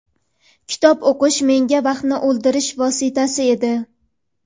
Kitob o‘qish menga vaqtni o‘ldirish vositasi edi.